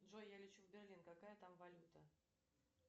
джой я лечу в берлин какая там валюта